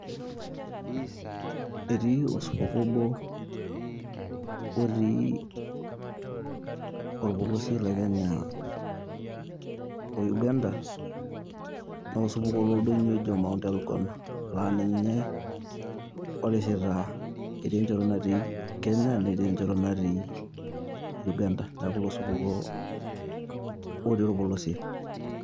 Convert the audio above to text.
Etii osupukuo obo otii orpolosie le Kenya o Uganda, na osupukuo loldonyo oji Mount Elgon, la ninye orishita etii enchoto natii Kenya netii enchoto natii Uganda. Neeku ilo supukuo otii olpolosie.